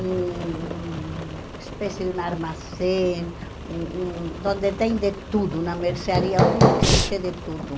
hum um espécie de armazém, um um de onde tem de tudo, na mercearia onde existe de tudo.